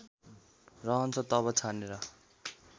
रहन्छ तब छानेर